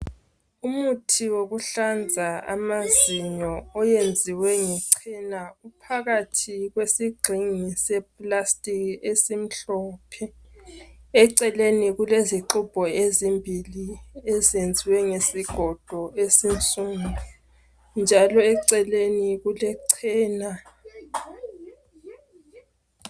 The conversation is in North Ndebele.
Umuthi wokuhlanza amazinyo oyenziwe ngechena uphakathi kwesigxingi sepulasitiki esimhlophe eceleni kulezixubho ezimbili ezenziwe ngesigodo esinsundu njalo eceleni kulechena